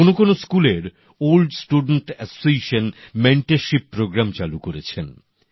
কোন কোন স্কুলের প্রাক্তনী সংগঠন মেন্টরশিপ প্রোগ্রাম চালু করেছেন